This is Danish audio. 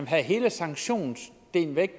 have hele sanktionsdelen væk